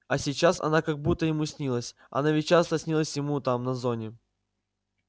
а сейчас она как будто ему снилась она ведь часто снилась ему там на зоне